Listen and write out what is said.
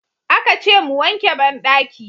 Aka ce mu wanke bandaki.